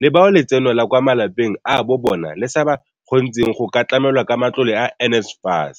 le bao letseno la kwa malapeng a bo bona le sa ba kgontsheng go ka tlamelwa ka matlole a NSFAS.